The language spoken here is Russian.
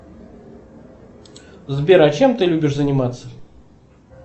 сбер а чем ты любишь заниматься